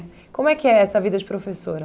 Como é que é essa vida de professora?